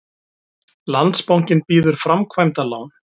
Landsbankinn býður framkvæmdalán